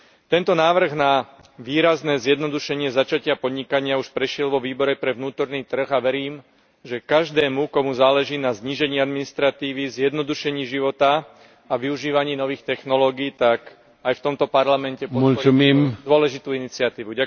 Tento návrh na výrazné zjednodušenie začatia podnikania už prešiel vo Výbore pre vnútorný trh a verím, že každému, komu záleží na znížení administratívy, zjednodušení života a využívaní nových technológií, tak aj v tomto Parlamente... podporí túto dôležitú iniciatívu.